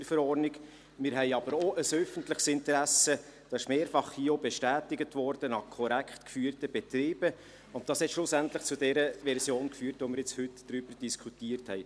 Wir haben aber auch ein öffentliches Interesse an korrekt geführten Betrieben, das wurde hier auch mehrfach bestätigt, und dies hat schlussendlich zur Version geführt, über die wir nun heute diskutiert haben.